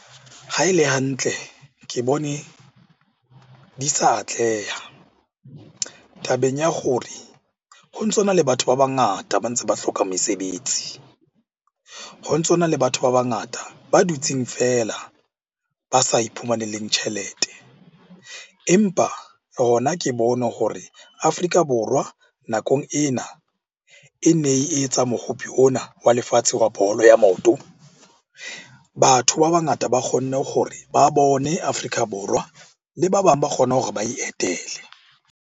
Ha e le hantle, ke bone di sa atleha tabeng ya hore ho ntso na le batho ba bangata ba ntse ba hloka mesebetsi. Ho ntso na le batho ba bangata ba dutseng feela ba sa iphumanele tjhelete. Empa hona ke bone hore Afrika Borwa nakong ena, e ne e etsa ona wa lefatshe wa bolo ya maoto. Batho ba bangata ba kgonne hore ba bone Afrika Borwa le ba bang ba kgona hore ba e etele.